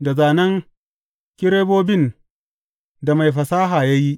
da zānen kerubobin da mai fasaha ya yi.